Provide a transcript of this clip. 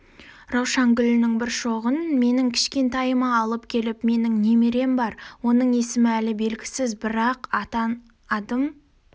раушан гүлінің бір шоғын менің кішкентайыма алып келіп менің немерем бар оның есімі әлі белгісіз бір-ақ адам атын